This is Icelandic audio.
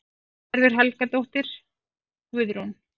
Gerður Helgadóttir, Guðrún